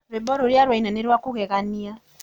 Rwĩmbo rũrĩa ũraĩna nĩ rwa kũgeganĩa